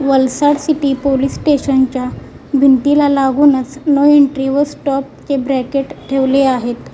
Pulsar city police station च्या भिंतीला लागूनच नो एन्ट्री व स्टॉप चे ब्रॅकेट ठेवले आहेत.